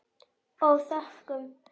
Og þökkum.